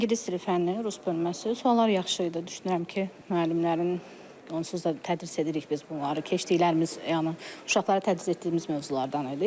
İngilis dili fənninin rus bölməsi, suallar yaxşı idi, düşünürəm ki, müəllimlərin onsuz da tədris edirik biz bunları, keçdiklərimiz yəni uşaqlara tədris etdiyimiz mövzulardan idi.